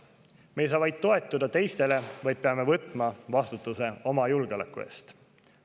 Me ei saa ainult toetuda teistele, vaid peame võtma vastutuse oma julgeoleku eest.